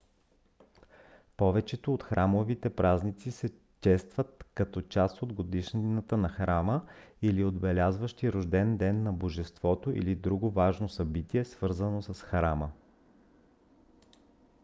повечето от храмовите празници се честват като част от годишнината на храма или отбелязващи рожден ден на божеството или друго важно събитие свързано с храма